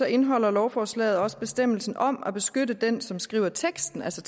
indeholder lovforslaget også bestemmelsen om at beskytte den som skriver teksten altså